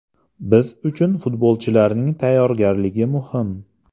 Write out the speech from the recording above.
Biz uchun futbolchilarning tayyorgarligi muhim”.